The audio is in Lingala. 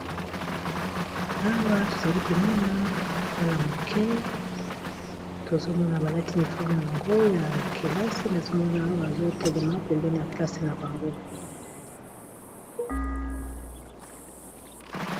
Awa tozali komona mwala moke tozomona baladi niforme ya bango ya kelasi nazomona awa bazotelema pembene ya klase na bango.